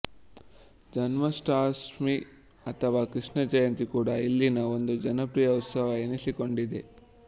ಜನ್ಮಾಷ್ಟಮಿ ಅಥವಾ ಕೃಷ್ಣ ಜಯಂತಿ ಕೂಡ ಇಲ್ಲಿನ ಒಂದು ಜನಪ್ರಿಯ ಉತ್ಸವ ಎನಿಸಿಕೊಂಡಿದೆ